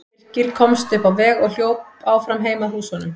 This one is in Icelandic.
Birkir komst upp á veg og hljóp áfram heim að húsunum.